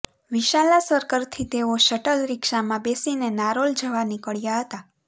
વિશાલા સર્કલથી તેઓ શટલ રીક્ષામાં બેસીને નારોલ જવા નીકળ્યા હતાં